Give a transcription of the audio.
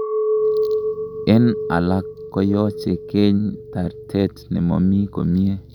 En alak koyoche keeny tartet nemomi komie.